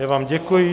Já vám děkuji.